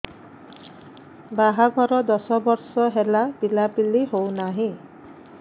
ବାହାଘର ଦଶ ବର୍ଷ ହେଲା ପିଲାପିଲି ହଉନାହି